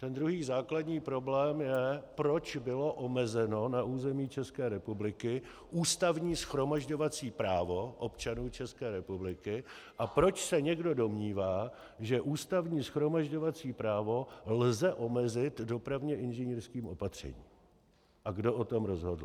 Ten druhý základní problém je, proč bylo omezeno na území České republiky ústavní shromažďovací právo občanů České republiky a proč se někdo domnívá, že ústavní shromažďovací právo lze omezit dopravně inženýrským opatřením, a kdo o tom rozhodl.